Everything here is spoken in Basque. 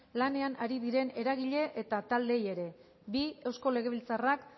lanean ari diren eragile eta taldeei ere bi eusko legebiltzarrak